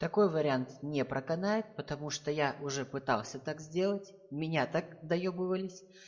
такой вариант не проканает потому что я уже пытался так сделать меня так доебывались